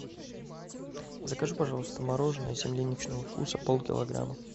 закажи пожалуйста мороженое земляничного вкуса полкилограмма